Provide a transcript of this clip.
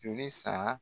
Joli sara